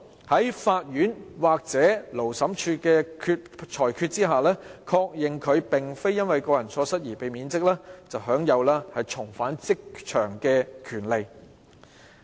經法院或勞資審裁處的判決，確認他並非由於個人錯失而被免職，享有重返職場的權利。